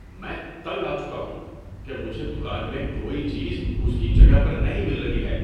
میں تنگ آ چکا ہوں کہ مجھے دکان میں کوئی چیز اس کی جگہ پر نہیں مل رہی ہے۔